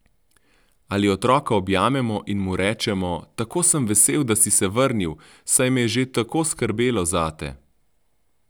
Ali otroka objamemo in mu rečemo: "Tako sem vesel, da si se vrnil, saj me je že tako skrbelo zate?